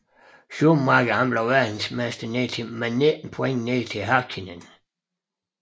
Schumacher blev verdensmester med 19 point ned til Häkkinen